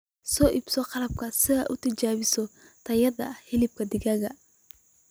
Soo iibso qalabka si aad u tijaabiso tayada hilibka digaaga.